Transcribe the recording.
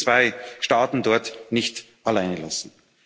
Wir dürfen die zwei Staaten dort nicht alleinlassen.